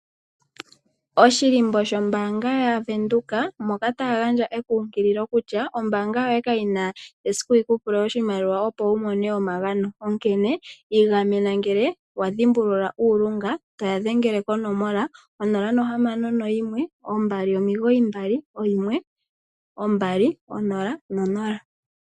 Oshilimbo shombanga yaVenduka moka taya gaya ekunkililo kutya ombanga kayi na esiku yi ku pule oshimaliwa opo wu mone omagano onkene igamena ngele wa dhimbulula uulunga toya dhengele konomola 0612991200.